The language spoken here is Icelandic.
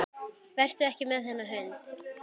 Vertu ekki með þennan hund.